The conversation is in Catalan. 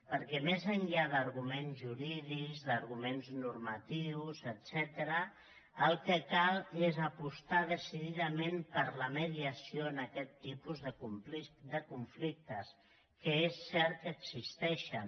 perquè més enllà d’arguments jurídics d’arguments normatius etcètera el que cal és apostar decididament per la mediació en aquest tipus de conflictes que és cert que existeixen